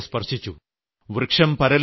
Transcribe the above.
അത് എന്റെ മനസ്സിനെ സ്പർശിച്ചു